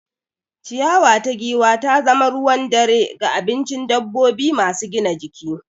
Ciyawa ta giwa ta zama ruwan dare ga abincin dabbobi masu gina jiki.